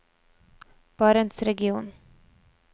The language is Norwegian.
barentsregionen